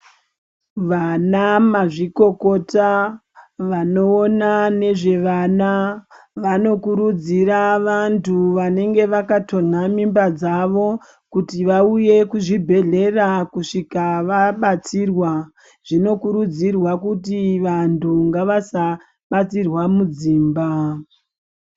Vanamzvikokota vanowona nezvevana vanokurudzira vantu vanenge vakatonha mimba dzavo, kuti vauye kuzvibhedhlera kusvika vabatsirwa. Zvinokurudzirwa kuti vantu ngavasabatsirwa mudzimba.